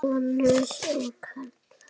Konur og karlar.